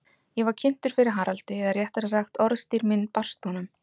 Ég var kynntur fyrir Haraldi, eða réttara sagt, orðstír minn barst honum.